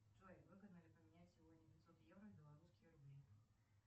джой выгодно ли поменять сегодня пятьсот евро в белорусские рубли